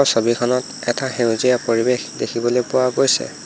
ছবিখনত এটা সেউজীয়া পৰিৱেশ দেখিবলৈ পোৱা গৈছে।